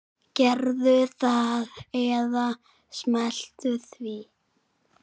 Gerðu það eða slepptu því.